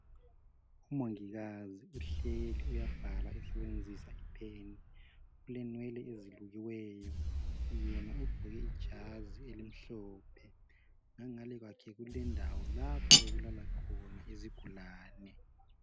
Umongikazi uhleli uyabhala usebenzisa ipen ulenwele ezilukiweyo; yena ugqoke ijazi elimhlophe ngangale kwakhe kulendawo lapho okulala khona izigulane.